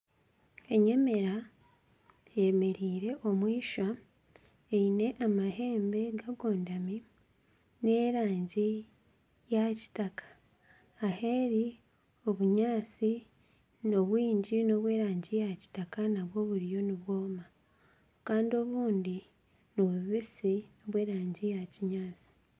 Abaana babiri nibaruga aha iziba kutaaha amaizi baine egaari ibiri omwishiki ayemereire arikuvuga egaari kandi akomire ekidomora kye aha gaari Kandi enyuma ye hariyo ekidomora aha rubaju rwe rwa buryo hariyo akatsigazi Kato kemereire Kandi egaari yaakyo kagibyamise ahansi barikutamburira omu ruguuto omukakuuto karikutwara amaizi Kandi hariho ebiti nkebinyatsi omu maisho gaabo.